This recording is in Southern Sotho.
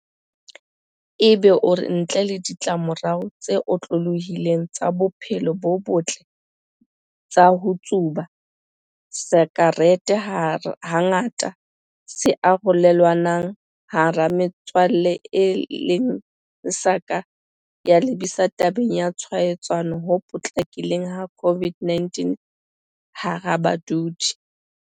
Egbe o re ntle le ditlamorao tse otlolohileng tsa bophelo bo botle tsa ho tsuba, sakerete hangata se ya arolelanwa hara metswalle e leng se ka lebisang tabeng ya ho tshwaetsana ho potlakileng ha COVID-19 hara badudi.